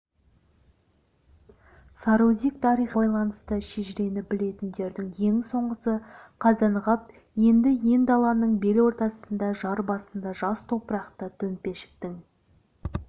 сарыөзек тарихына байланысты шежірені білетіндердің ең соңғысы қазанғап енді ен даланың бел ортасында жар басында жас топырақты төмпешіктің